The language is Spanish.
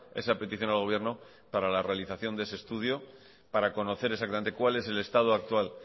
esa petición al gobierno para la realización de ese estudio para conocer exactamente cuál es el estado actual